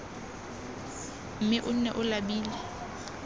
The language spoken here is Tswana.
mme o nne o labile